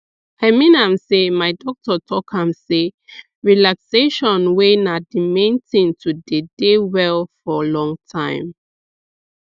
i mean am sey my doctor talk am sey relaxation way na d main thing to dey dey well for long time